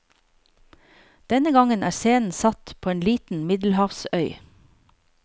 Denne gangen er scenen satt på en liten middelhavsøy.